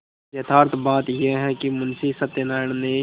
यथार्थ बात यह है कि मुंशी सत्यनाराण ने